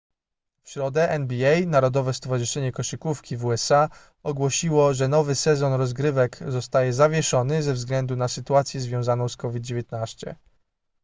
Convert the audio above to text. w środę nba narodowe stowarzyszenie koszykówki w usa ogłosiło że nowy sezon rozgrywek zostaje zawieszony ze względu na sytuację związaną z covid-19